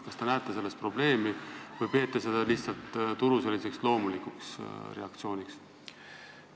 Kas te näete selles probleemi või peate seda lihtsalt turu loomulikuks reaktsiooniks?